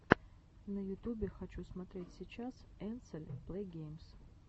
на ютубе хочу смотреть сейчас энсель плэйгеймс